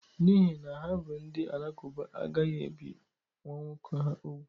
N'ihi na ha bụ ndị Alakuba, a gaghị ebi nwa nwoke ha ùgwù